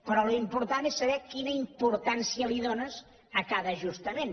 però l’important és saber quina importància dónes a cada ajustament